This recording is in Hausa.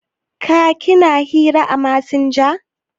Ka/ ki na hira à masanja?